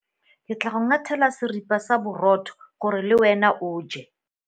Ke tla go ngathela seripa sa borotho gore le wena o je.